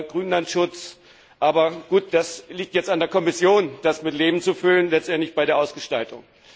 Grünlandschutz aber gut, das liegt jetzt an der Kommission, das mit Leben zu füllen, letztendlich bei der Ausgestaltung.